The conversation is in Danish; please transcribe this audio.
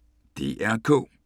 DR K